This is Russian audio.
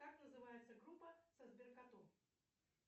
как называется группа со сбер котом